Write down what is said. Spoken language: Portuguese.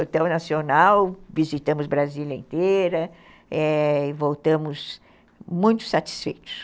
Hotel Nacional, visitamos Brasília inteira e voltamos muito satisfeitos.